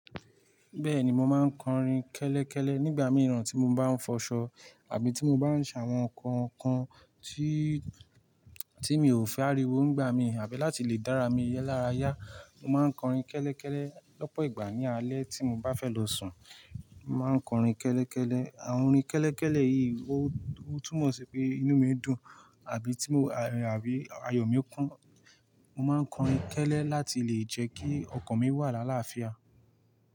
Bẹ́ẹ̀ni mo máa ń kọrin kẹ́lẹ́kẹ́lẹ́ nígbà mìíràn tí mo bá ń fọṣọ àbí tí mo bá ń ṣ'àwọn nǹkan kan tí, tí mi ò fẹ́ áríwo nígbà mi, àbí láti lè dára mi lára yá. Mo má ń kọrin kẹ́lẹ́kẹ́lẹ́ lọ́pọ̀ ìgbà ní alẹ́ tí mo bá fẹ́ lọ sùn. Mo má ń kọrin kẹ́lẹ́kẹ́lẹ́. Àwọn orin kẹ́lẹ́kẹ́lẹ́ yìí ó, ó túmọ̀ sí pé inú mi dùn, àbí tí mo, àbí ayọ̀ mi ń kún. Mo má ń kọrin kẹ́lẹ́ láti lè jẹ́ kí ọkàn mi wà l'àláàfià.